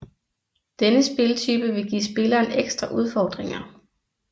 Denne spiltype vil give spilleren ekstra udfordringer